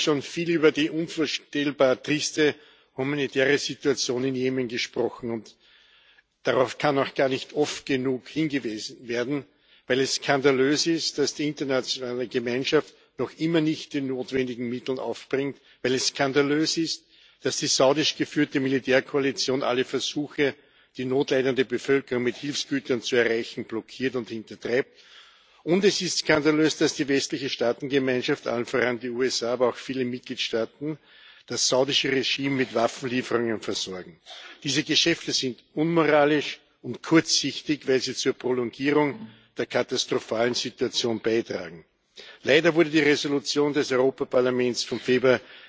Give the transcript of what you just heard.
Heute haben wir schon viel über die unvorstellbar triste humanitäre Situation in Jemen gesprochen. Und darauf kann auch gar nicht oft genug hingewiesen werden, weil es skandalös ist, dass die internationale Gemeinschaft noch immer nicht die notwendigen Mittel aufbringt, weil es skandalös ist, dass die saudisch geführte Militärkoalition alle Versuche, die notleidende Bevölkerung mit Hilfsgütern zu erreichen, blockiert und hintertreibt. Und es ist skandalös, dass die westliche Staatengemeinschaft allen voran die USA, aber auch viele Mitgliedstaaten das saudische Regime mit Waffenlieferungen versorgt. Diese Geschäfte sind unmoralisch und kurzsichtig, weil sie zur Prolongierung der katastrophalen Situation beitragen. Leider wurde die Entschließung des Europäischen Parlaments vom Februar